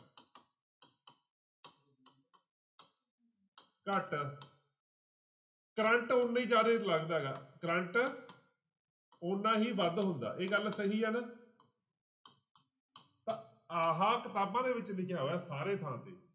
ਘੱਟ ਕਰੰਟ ਓਨਾ ਹੀ ਜ਼ਿਆਦੇ ਲੱਗਦਾ ਗਾ ਕਰੰਟ ਓਨਾ ਹੀ ਵੱਧ ਹੁੰਦਾ ਇਹ ਗੱਲ ਸਹੀ ਆ ਨਾ ਤਾਂ ਆਹ ਕਿਤਾਬਾਂ ਦੇ ਵਿੱਚ ਲਿਖਿਆ ਹੋਇਆ ਸਾਰੇ ਥਾਂ ਤੇ।